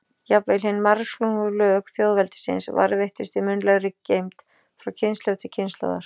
Jafnvel hin margslungnu lög þjóðveldisins varðveittust í munnlegri geymd frá kynslóð til kynslóðar.